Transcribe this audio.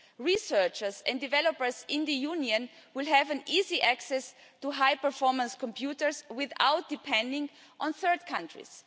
Researchers and developers in the Union will have easy access to high performance computers without depending on third countries.